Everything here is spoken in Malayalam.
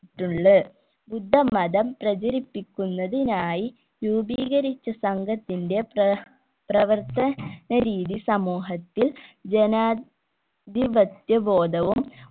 ട്ടുള് ബുദ്ധമതം പ്രചരിപ്പിക്കുന്നതിനായി രൂപീകരിച്ച സംഘത്തിന്റെ പ്ര പ്രവർത്തന രീതി സമൂഹത്തിൽ ജനാധിപത്യ ബോധവും